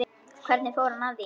Hvernig fór hann að því?